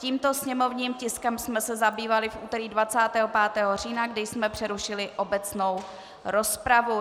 Tímto sněmovním tiskem jsme se zabývali v úterý 25. října, kdy jsme přerušili obecnou rozpravu.